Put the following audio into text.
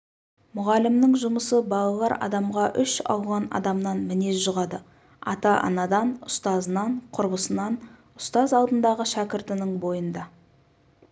мұғалімнің жұмысы балалар адамға үш алуан адамнан мінез жұғады ата-анадан ұстазынан құрбысынан ұстаз алдындағы шәкіртінің бойында